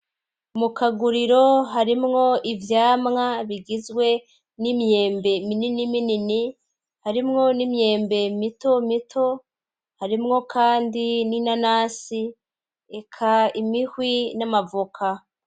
Mu kaguriro harimwo ivyamwa bigizwe n'imyembe minini minini harimwo n'imyembe mito mito harimwo kandi n'inanasi eka imihwi n'amavoka.